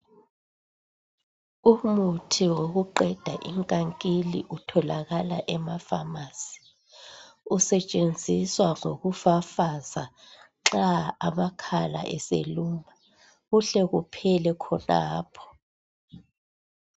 Umuthi wokuqeda inkankili utholakala emafamasi usetshenziswa ngokufafaza nxa amakhala eseluma kuhle kuphele khonapho.